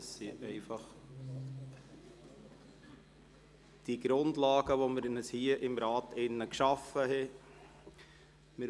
Das sind einfach die Grundlagen, die wir uns hier im Rat geschaffen haben.